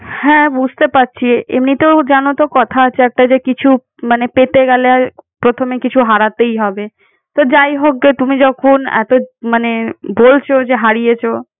হ্যাঁ বুঝতে পারছি এমনিতেও জানো তো কথা আছে একটা যে কিছু পেতে গেলে প্রথমে কিছু হারাতেই হবে। তো যাইহোক তুমি যখন এত মানে বলছো যে হারিয়েছো